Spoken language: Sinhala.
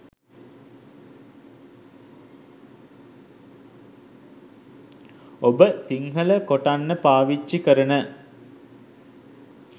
ඔබ සිඞ්හල කොටන්න පාවිච්චි කරන